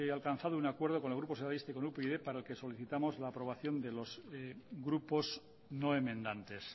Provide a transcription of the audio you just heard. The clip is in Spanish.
alcanzado un acuerdo con el grupo socialista y con upyd para el que solicitamos la aprobación de los grupos no enmendantes